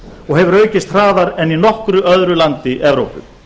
og hefur aukist hraðar en í nokkru öðru landi evrópu